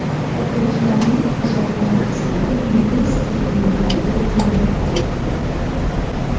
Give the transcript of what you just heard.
O‘quvchilarning qo‘shiq va raqslari milliy sport o‘yinlariga ulanib ketdi.